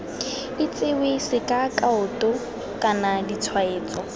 itsewe sk kaoto kana ditshwaetso